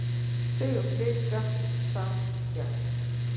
Sigur Blika sanngjarn